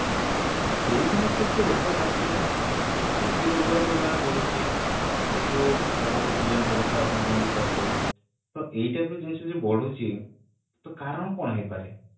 ସେଇ ସମୟରେ ତ ଏତେ ରୋଗ ନଥିଲା ଏବେ ରୋଗର ପରିମାଣ ବଢୁଛି ଏଇ ଯୋଉ ଅପପୁଷ୍ଟି ଜନିତ କଥା ଆପଣ ଯେମିତି କହିଲେ ତ ଏଇଟା ବି ଜିନିଷ ବେଶି ବଢୁଛି ତ କାରଣ କଣ ହେଇପାରେ